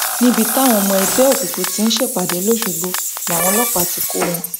níbi táwọn ọmọ ẹgbẹ òkùnkùn tí ń ṣèpàdé lọsọgbọ làwọn ọlọpàá ti kọ wọn